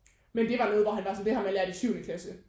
Men det var noget hvor han var sådan det har man lært i syvende klasse